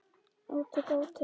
Átök, átök.